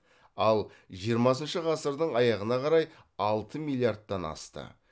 ал жиырмасыншы ғасырдың аяғына қарай алты миллиардтан асты